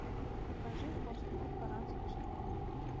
покажи хост клуб оранской школы